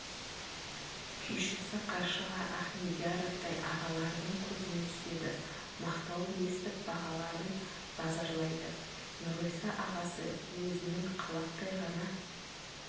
күйшісі қаршыға ахмедияровтай ағаларының көзіне түседі мақтауын естіп бағаларын базарлайды нұрғиса ағасы өзінің қалақтай ғана